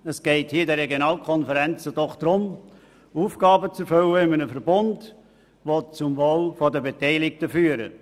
Es geht in den Regionalkonferenzen darum, Aufgaben im Verbund zu erfüllen, die zum Wohl der Beteiligten führen.